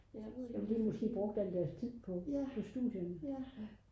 de har måske brugt alt deres tid på studierne